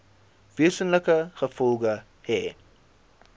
wesenlike gevolge hê